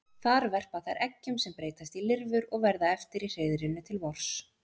Þar verpa þær eggjum sem breytast í lirfur og verða eftir í hreiðrinu til vors.